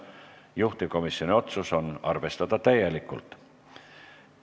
Juhtivkomisjoni otsus on arvestada täielikult.